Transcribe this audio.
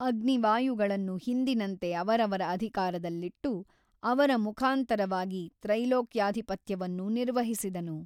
ಅಗ್ನಿ ವಾಯುಗಳನ್ನು ಹಿಂದಿನಂತೆ ಅವರವರ ಅಧಿಕಾರದಲ್ಲಿಟ್ಟು ಅವರ ಮುಖಾಂತರವಾಗಿ ತ್ರೈಲೋಕ್ಯಾಧಿಪತ್ಯವನ್ನು ನಿರ್ವಹಿಸಿದನು.